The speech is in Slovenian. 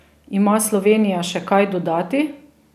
Ima Slovenija še kaj dodati?